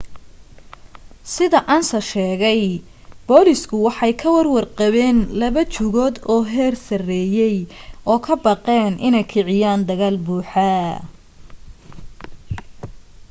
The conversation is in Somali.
sida ansa sheegay booliisku waxay ka warwar qabeen laba jugood oo heer sareeyay oo ka baqeen inay kiciyaan dagaal buuxa